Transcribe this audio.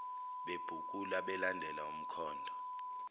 bebhukula belandela umkhondo